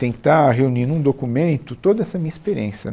Tentar reunir num documento toda essa minha experiência.